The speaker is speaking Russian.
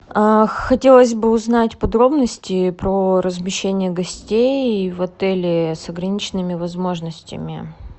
хотелось бы узнать подробности про размещение гостей в отеле с ограниченными возможностями